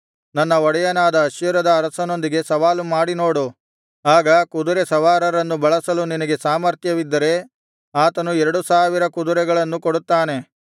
ನನ್ನ ಒಡೆಯನಾದ ಅಶ್ಶೂರದ ಅರಸನೊಂದಿಗೆ ಸವಾಲು ಮಾಡಿನೋಡು ಆಗ ಕುದುರೆ ಸವಾರರನ್ನು ಬಳಸಲು ನಿನಗೆ ಸಾಮರ್ಥ್ಯವಿದ್ದರೆ ಆತನು ಎರಡು ಸಾವಿರ ಕುದುರೆಗಳನ್ನು ಕೊಡುತ್ತಾನೆ